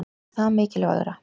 Er það mikilvægara?